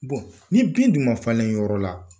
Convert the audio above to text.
ni bin du ma falenyɔrɔ la